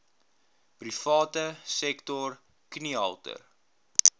private sektor kniehalter